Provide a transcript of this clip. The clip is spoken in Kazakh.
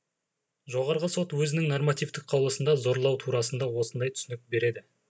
жоғарғы сот өзінің нормативтік қаулысында зорлау турасында осындай түсінік береді